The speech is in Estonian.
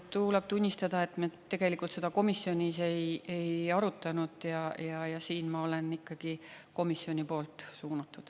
Tuleb tunnistada, et me tegelikult seda komisjonis ei arutanud ja siin ma olen ikkagi komisjoni poolt suunatud.